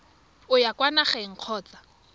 o ya kwa nageng kgotsa